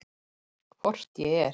Hvort ég er.